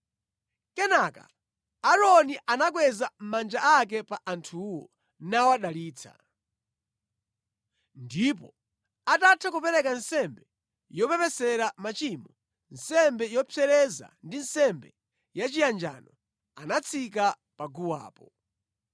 Kenaka Aaroni anakweza manja ake pa anthuwo nawadalitsa. Ndipo atatha kupereka nsembe yopepesera machimo, nsembe yopsereza ndi nsembe yachiyanjano, anatsika pa guwapo.